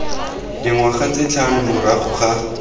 dingwaga tse tlhano morago ga